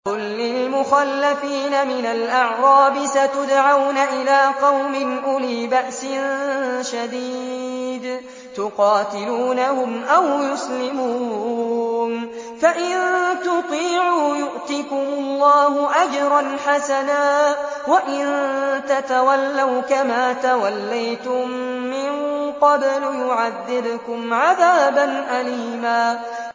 قُل لِّلْمُخَلَّفِينَ مِنَ الْأَعْرَابِ سَتُدْعَوْنَ إِلَىٰ قَوْمٍ أُولِي بَأْسٍ شَدِيدٍ تُقَاتِلُونَهُمْ أَوْ يُسْلِمُونَ ۖ فَإِن تُطِيعُوا يُؤْتِكُمُ اللَّهُ أَجْرًا حَسَنًا ۖ وَإِن تَتَوَلَّوْا كَمَا تَوَلَّيْتُم مِّن قَبْلُ يُعَذِّبْكُمْ عَذَابًا أَلِيمًا